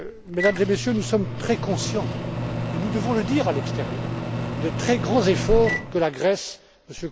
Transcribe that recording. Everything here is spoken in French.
Mesdames et Messieurs, nous sommes très conscients et nous devons le dire à l'extérieur des très grands efforts que la Grèce